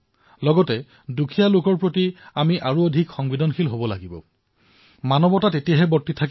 লগতে দুখীয়াসকলৰ প্ৰতি আমাৰ সংবেদনা অধিক তীব্ৰ হব লাগে